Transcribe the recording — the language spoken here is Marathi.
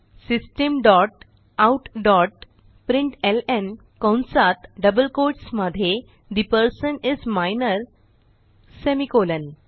system dot out dot println कंसात डबल कोट्स मध्ये the person is minor semi colon